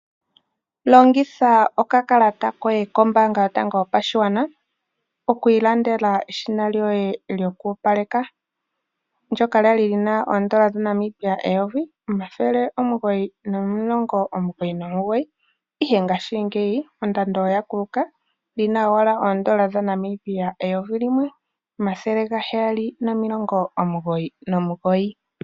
Longitha okakalata koye kombaanga yotango yopashigwana okwiilandela eshina lyoye lyokoopaleka ndyoka lyali lina oodola dhaNamibia eyovi omathele omuhoyi nomulongo omugoyi nomugoyi ihe ngaashi ngeyi ondando oya kuluka lina owala oodola dhaNamibia eyovi limwe omathele gaheyali nomilongo omugoyi nomugoyi